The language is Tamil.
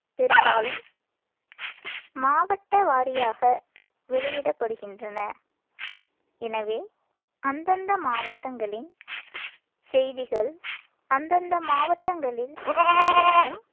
பெரும்பாலும் மாவட்ட வாரியாக வெளியிடப்படுகின்றன. எனவே அந்தந்த மாவட்டங்களின் செய்திகள் அந்தந்த மாவட்டங்களில் வெளியாகும்